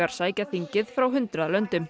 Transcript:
sækja þingið frá hundrað löndum